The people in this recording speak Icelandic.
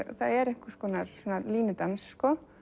það er einhvers konar línudans